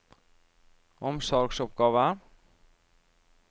omsorgsoppgaver